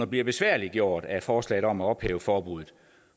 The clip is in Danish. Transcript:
bliver besværliggjort af forslaget om at ophæve forbuddet